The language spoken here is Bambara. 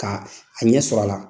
K'a a ɲɛ sɔrɔ a la.